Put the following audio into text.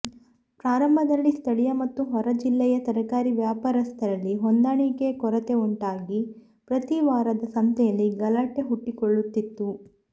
ಪ್ರಾರಂಭದಲ್ಲಿ ಸ್ಥಳೀಯ ಮತ್ತು ಹೊರ ಜಿಲ್ಲೆಯ ತರಕಾರಿ ವ್ಯಾಪಾರಸ್ತರಲ್ಲಿ ಹೊಂದಾಣಿಕೆಯ ಕೊರತೆ ಉಂಟಾಗಿ ಪ್ರತಿ ವಾರದ ಸಂತೆಯಲ್ಲಿ ಗಲಾಟೆ ಹುಟ್ಟಿಕೊಳ್ಳುತ್ತಿತ್ತು